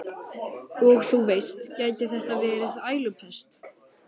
Og þú veist, gæti þetta verið ælupest?